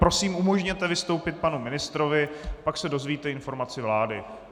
Prosím, umožněte vystoupit panu ministrovi, pak se dozvíte informaci vlády.